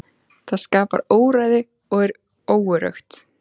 Það skapar óreiðu og er óöruggt.